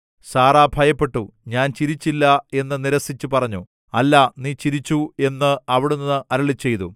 Sarah ഭയപ്പെട്ടു ഞാൻ ചിരിച്ചില്ല എന്നു നിരസിച്ചു പറഞ്ഞു അല്ല നീ ചിരിച്ചു എന്ന് അവിടുന്ന് അരുളിച്ചെയ്തു